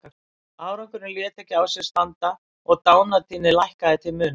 Árangurinn lét ekki á sér standa og dánartíðni lækkaði til muna.